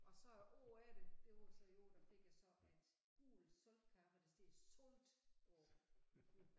Og så året efter det var jo så der fik jeg så et gult saltkar hvor der står salt på